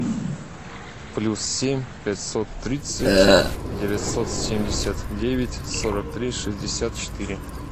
плюс семь пятьсот тридцать девятьсот семьдесят девять сорок три шестьдесят четыре